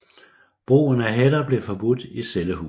Brugen af hætter blev forbudt i cellehuset